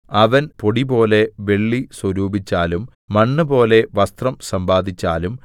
അവൻ പൊടിപോലെ വെള്ളി സ്വരൂപിച്ചാലും മണ്ണുപോലെ വസ്ത്രം സമ്പാദിച്ചാലും